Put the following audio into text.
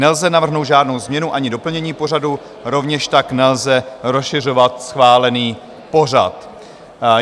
Nelze navrhnout žádnou změnu ani doplnění pořadu, rovněž tak nelze rozšiřovat schválený pořad.